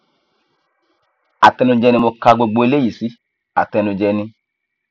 àtẹnujẹ ni mo ka gbogbo eléyìí sí àtẹnujẹ ni